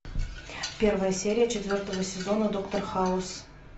первая серия четвертого сезона доктор хаус